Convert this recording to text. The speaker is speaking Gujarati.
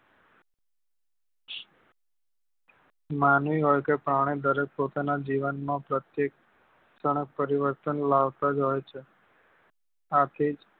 માનવી હોય કે પ્રાણી દરેક પોતાના જીવન માં પ્રત્યેક ક્ષણે પરિવર્તન લાવતા જ હોય છે આથી જ